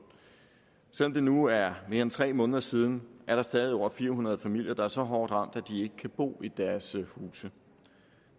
selv om det nu er mere end tre måneder siden er der stadig over fire hundrede familier der er så hårdt ramt at de ikke kan bo i deres huse